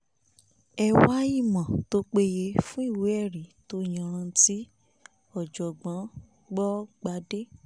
ẹ wá ìmọ̀ tó péye fún ìwé ẹ̀rí tó yanranti ọ̀jọ̀gbọ́n gbọ̀gbàdé